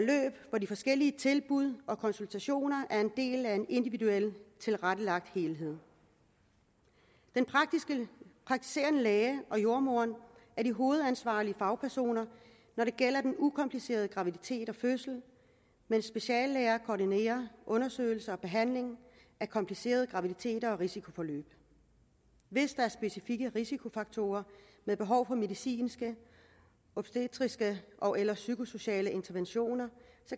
hvor de forskellige tilbud og konsultationer er en del af en individuelt tilrettelagt helhed den praktiserende læge og jordemoderen er de hovedansvarlige fagpersoner når det gælder den ukomplicerede graviditet og fødsel mens speciallæger koordinerer undersøgelse og behandling af komplicerede graviditeter og risikoforløb hvis der er specifikke risikofaktorer med behov for medicinske obstetriske ogeller psykosociale interventioner